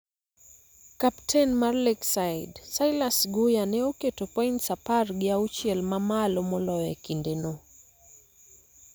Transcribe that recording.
Kapten mar Lakeside, Silas Guya, ne oketo points apar gi auchiel ma malo moloyo e kinde no